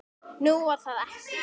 Nú, var það ekki?